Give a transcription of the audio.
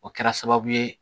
O kɛra sababu ye